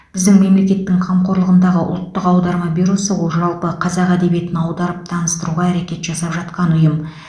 біздің мемлекеттің қамқорлығындағы ұлттық аударма бюросы ол жалпы қазақ әдебиетін аударып таныстыруға әрекет жасап жатқан ұйым